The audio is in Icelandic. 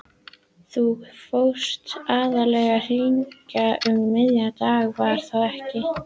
Þú fórst aðallega hingað um miðjan dag, var það ekki?